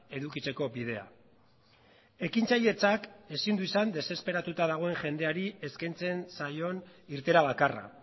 edukitzeko bidea ekintzailetzak ezin du izan desesperatuta dagoen jendeari eskaintzen zaion irteera bakarra